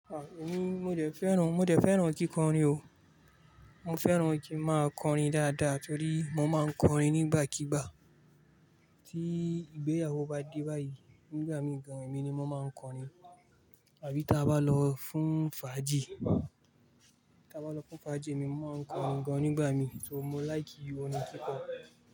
À mí mo dé fẹ́ràn, mo dé fẹ́ràn kíkọrin o. Mo fẹ́ràn kí n máa kọrin dáadáa torí mo máa ń kọrin nígbàkigbà. Tí ìgbéyàwó bá dé báyìí, nígbà mí gan-an èmi ni mo máa ń kọrin. Àbí tí a bá lọ fún fàájì, tí a bá lọ fún fàájì mo máa ń kọrin gan-an nígbà mí torí mo like orin kíkọ.